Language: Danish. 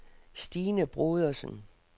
Stine Brodersen